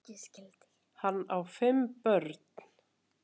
Hann á fimm börn.